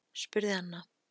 spurði Anna.